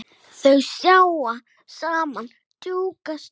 Þau sitja saman drjúga stund.